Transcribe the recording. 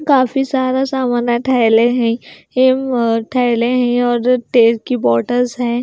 काफी सारा सामान है थैले हैं हिम और थैले हैं और तेल की बॉटल्स हैं।